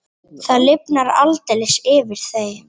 Það lifnar aldeilis yfir þeim.